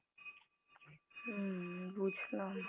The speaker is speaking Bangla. হম বুজলাম